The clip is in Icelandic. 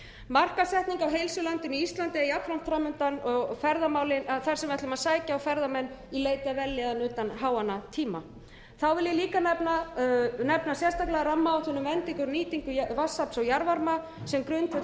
markaðssetning á heilsulandinu íslandi er jafnframt framundan þar sem ætlum að sækja á ferðamenn í leit að vellíðan utan háannatíma ég vil líka nefna sérstaklega rammaáætlun um endingu og nýtingu vatnsafls og jarðvarma sem grundvöll